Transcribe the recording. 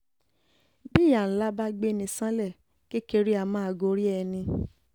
bí ìyá ńlá bá gbé ní ṣánlẹ̀ kékeré um a máa gorí ẹni um